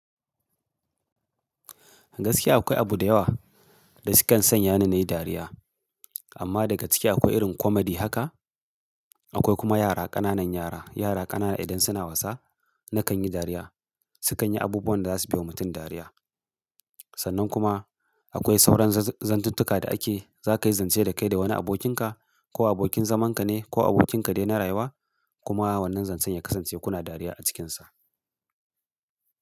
Gaskiya akwai abu da yawa da sukan sanya ni nayi dariya amma daga ciki akwai irin komedi haka. Akwai kuma yara ƙananan yara. Yara ƙanana idan suna wasa nakan yi dariya. Sukan yi abubuwan da za su baiwa mutum dariya. Sannan kuma akwai sauran zantuntuka da ake zaka yi zance da kai da wani abokinka ko abokin zamanka ne ko abokinka dai na rayuwa kuma wannan zancen ya kasance kuna dariya a cikinsa.